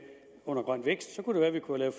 grøn vækst så kunne det være at vi kunne have